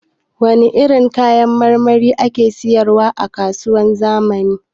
Wane irin kayan marmari ake sayar wa a kasuwar zamani?